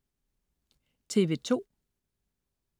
TV2: